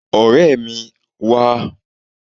Ọ̀rẹ́ mi, wá!